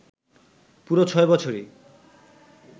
পুরো ছয় বছরই